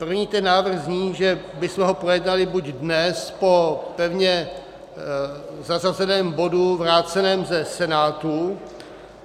První ten návrh zní, že bychom ho projednali buď dnes po pevně zařazeném bodu vráceném ze Senátu.